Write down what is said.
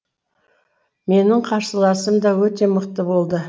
менің қарсыласым да өте мықты болды